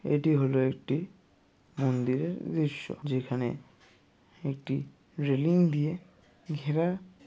এটি হলো একটি মন্দিরের দৃশ্য যেখানে একটি রেলিং দিয়ে ঘেরা --